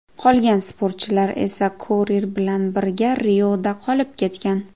Qolgan sportchilar esa Korir bilan birga Rioda qolib ketgan.